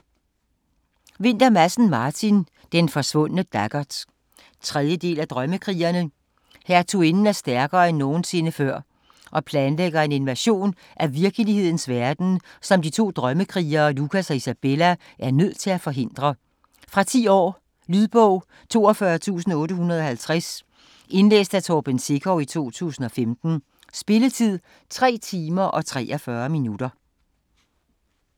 Vinther Madsen, Martin: Den forsvundne daggert 3. del af Drømmekrigerne. Hertuginden er stærkere end nogensinde før, og planlægger en invasion af Virkelighedens verden, som de to Drømmekrigere, Lukas og Isabella, er nødt til at forhindre. Fra 10 år. Lydbog 42850 Indlæst af Torben Sekov, 2015. Spilletid: 3 timer, 43 minutter.